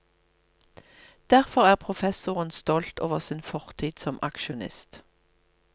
Derfor er professoren stolt over sin fortid som aksjonist.